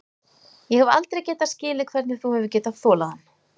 Ég hef aldrei getað skilið hvernig þú hefur getað þolað hann.